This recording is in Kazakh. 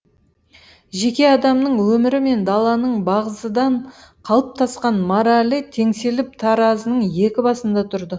жеке адамның өмірі мен даланың бағзыдан қалыптасқан моралі теңселіп таразының екі басында тұрды